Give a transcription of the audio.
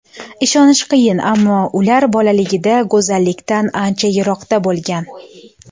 Ishonish qiyin, ammo ular bolaligida go‘zallikdan ancha yiroqda bo‘lgan.